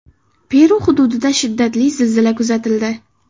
Peru hududida shiddatli zilzila kuzatildi.